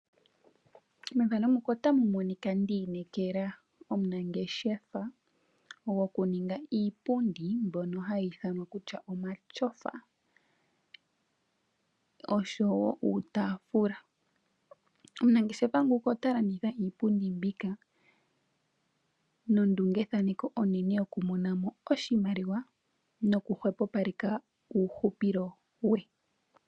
Methano muka otamu monika ndi inekela omunangeshefa gwokuninga iipundi mbono hai thanwa kutya omatyofa ,osho wo uutafula omunangeshefa nguka ota landitha iipundi mbika nondungethaneko onene yokumona mo oshimaliwa noku hwepopaleka uuhupule we.